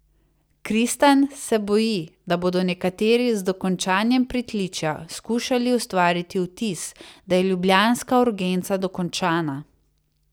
Kristan se boji, da bodo nekateri z dokončanjem pritličja skušali ustvariti vtis, da je ljubljanska urgenca dokončana.